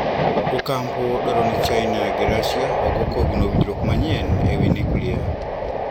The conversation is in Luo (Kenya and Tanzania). Otampo dwaro ni Chaina gi Rashia ogo kogno winjruok manyien ewi nuklia.